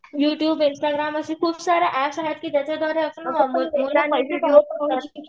YouTube Instagram असे खूप सारे एप्प्स आहेत की ज्याच्याद्वारे